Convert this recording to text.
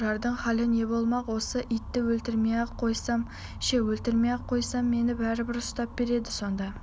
тұрардың халі не болмақ осы итті өлтірмей-ақ қойсам ше өлтірмей-ақ қойсам мені бәрібір ұстап береді сонда